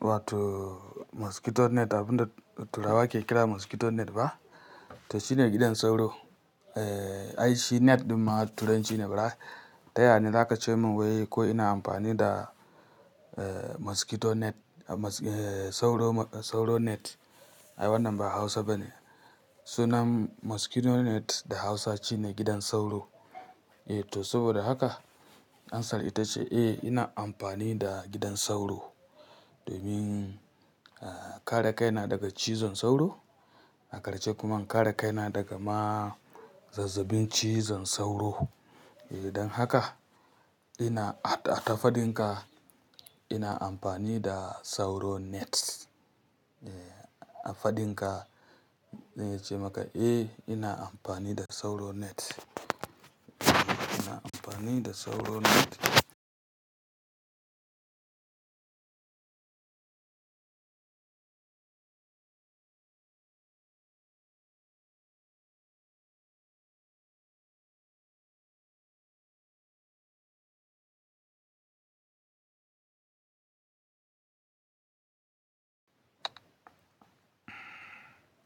wato mosquito net abin da turawa ke kira mosquito net ba? To shine gidan sauro. Eh, ai shi net ɗin ma turanci ne bara. Ta ya ne za ka ce min wai ko ina amfani da eh mosquito net, sauro sauro net? Ai wannan ba Hausa bane. Sunan mosquito net da Hausa shine gidan sauro. Eh to saboda haka amsar ita ce eh ina amfani da gidan sauro domin kare kaina daga cizon sauro, a ƙarshe kuma kare kaina daga ma zazzabin cizon sauro. Eh don haka ina a tafadinka ina amfani da sauro net. Eh a faɗinka zan yi ce maka eh ina amfani da sauro net. Ina amfani da sauro net.